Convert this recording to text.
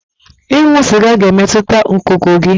Ịṅụ sịga ga-emetụta ngụgụ gị.